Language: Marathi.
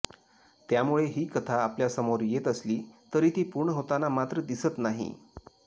त्यामुळे ही कथा आपल्यासमोर येत असली तरी ती पूर्ण होताना मात्र दिसत नाही